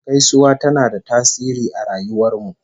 Gaisuwa tana da tasiri a rayuwar mu